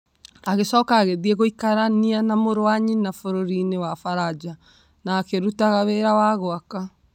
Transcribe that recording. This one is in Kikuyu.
Agĩcoka agĩthiĩ gũikarania na mũrũ wa nyina bũrũri-inĩ wa Faranja na akĩruta wĩra wa gwaka.